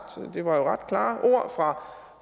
det var jo ret klare ord